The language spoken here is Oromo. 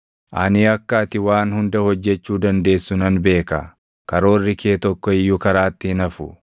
“Ani akka ati waan hunda hojjechuu dandeessu nan beeka; karoorri kee tokko iyyuu karaatti hin hafu.